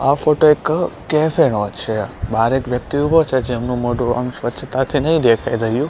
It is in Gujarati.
આ ફોટો એક કેફે નો છે બાર એક વ્યક્તિ ઉભો છે જેમનું મોઢું આમ સ્વચ્છતાથી નઇ દેખાય રહ્યું.